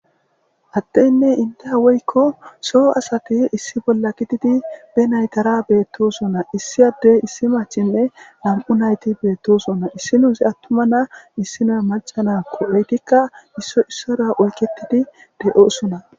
Addeynne indda woykko soo asati issi bolla gididi be naytara beettosona. Issi addey issi maccinne nam77u nayti beettosona. Issinnozi attumati na7a issinna macca na7akko eetikka issoy issuwara oykettidi de7oosona.